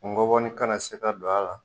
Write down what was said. N gɔboni kana na se ka don a la.